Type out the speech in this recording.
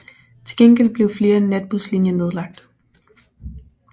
Til gengæld blev flere natbuslinjer nedlagt